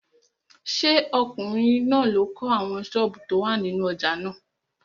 Ṣé ọkùnrin náà ló kọ́ àwọn sọ́ọ̀bù tó wà nínú ojà náà?